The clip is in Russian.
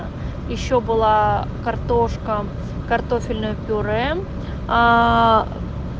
ещё была картошка картофельное пюре аа